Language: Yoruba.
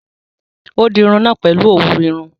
Ó dirun irun náà pèlu òwú irun